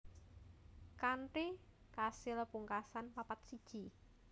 Kanthi kasil pungkasan papat siji